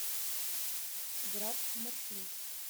град маршрут